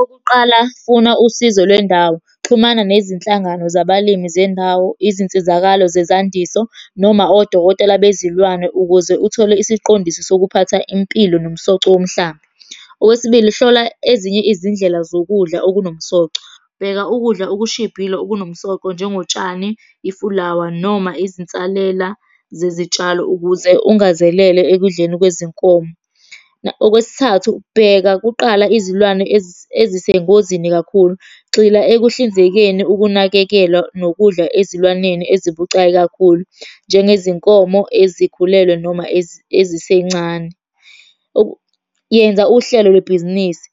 Okokuqala, funa usizo lwendawo, xhumana nezinhlangano zabalimi zendawo, izinsizakalo zezandiso noma odokotela bezilwane ukuze uthole isiqondiso sokuphatha impilo nomsoco womhlaba. Okwesibili, hlola ezinye izindlela zokudla okunomsoco, bheka ukudla okushibhile okunomsoco njengotshani, ifulawa, noma izinsalela zezitshalo ukuze ungazelele ekudleni kwezinkomo. Okwesithathu, bheka kuqala izilwane ezisengozini kakhulu. Gxila ekuhlinzekeni ukunakekelwa nokudla ezilwaneni ezibucayi kakhulu, njengezinkomo ezikhulelwe noma ezisencane . Yenza uhlelo lwebhizinisi.